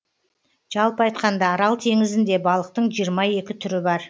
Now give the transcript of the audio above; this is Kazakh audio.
жалпы айтқанда арал теңізінде балықтың жиырма екі түрі бар